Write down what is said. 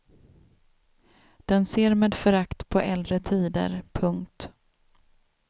Den ser med förakt på äldre tider. punkt